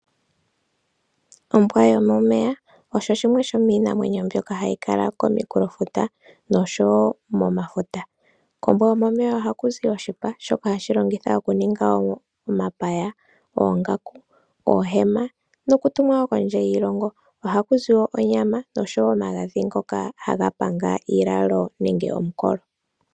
Ombwa yomomeya osho shimwe shomiinamwenyo mbyoka hayi kala komikulofuta nosho wo momafuta. Kombwa yomomeya oha ku zi oshipa shoka hashi longithwa okuninga omapaya, oongaku, oohema nokutumwa wo kondje yiilongo. Oha ku zi wo onyama nosho wo omagadhi ngoka haga panga iilalo nenge omukolo.